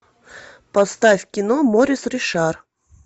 поставь кино морис ришар